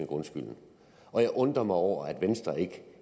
grundskylden og jeg undrer mig over at venstre ikke